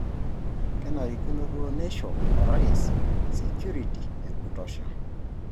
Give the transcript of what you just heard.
Kenarikino duo neisho Orais sekiriti ekutosha.